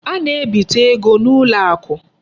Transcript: A na-ebite ego n'ụlọakụ.